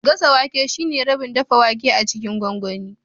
Gasa wake shine rabin dafa wake a cikin gwangwani